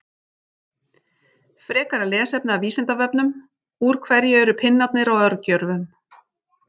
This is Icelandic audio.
Frekara lesefni af Vísindavefnum: Úr hverju eru pinnarnir á örgjörvum?